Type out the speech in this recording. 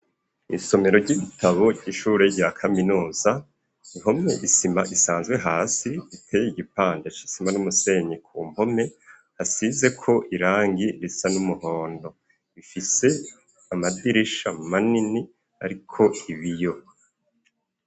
Isomero ry'ibitabo ry'ishure rya kaminuza, ihomye isima isanzwe hasi, iteye igipande c'isima n'umusenyi ku mpome, hasizeko irangi risa n'umuhondo, ifise amadirisha manini ariko ibiyo.